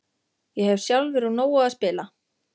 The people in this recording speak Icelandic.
Ég hef sjálfur úr nógu að spila.